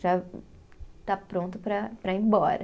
Já está pronto para, para ir embora.